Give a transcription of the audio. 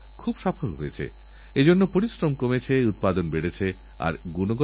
আর পাঁচ বছরধরে তাকে ঠিকভাবে চালু রাখার জন্য আরও ১০ লক্ষ টাকা দেওয়া হবে